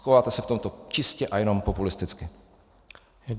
Chováte se v tomto čistě a jenom populisticky.